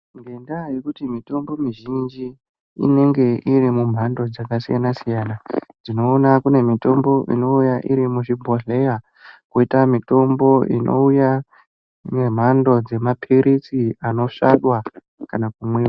Ngendaa yekuti mitombo mizhinji inenge iri mumhando dzakasiyana siyana. Tinoona kune mitombo inouya iri muzvibhondleya. Kwoitawo kune mitombo inouya ngemhando dzemapiritsi anosvadwa kana kumwiwa.